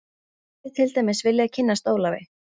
Ég hefði til dæmis viljað kynnast Ólafi